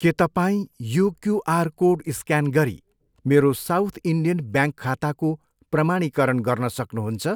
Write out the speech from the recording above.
के तपाईँ यो क्युआर कोड स्क्यान गरी मेरो साउथ इन्डियन ब्याङ्क खाताको प्रमाणीकरण गर्न सक्नुहुन्छ?